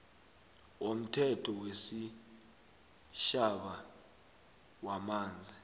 womthetho wesitjhaba wamanzi